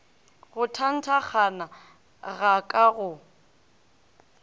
go thathankgana ga ka go